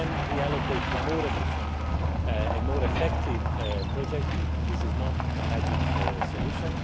We can reallocate to more efficient and more effective projects, but this is not a magic solution.